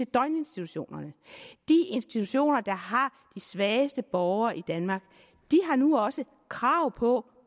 døgninstitutionerne de institutioner der har de svageste borgere i danmark har nu også krav på